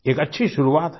एक अच्छी शुरुआत है